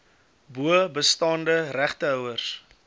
bo bestaande regtehouers